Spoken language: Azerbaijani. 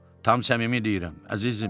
Tam səmimi deyirəm, əzizim.